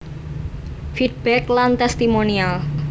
Feedback lan Testimonial